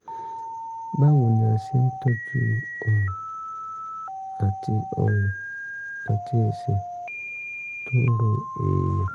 báwo ni a ṣe ń tọ́jú ọrùn àti ọrùn àti ẹsẹ̀ tó ń ro èèyàn?